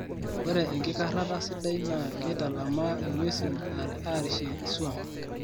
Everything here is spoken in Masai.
ore enkikarrata sidai naa keitalamaa ingwesi arishie iswam